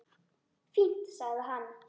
Fínt- sagði hann.